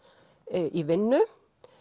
í vinnu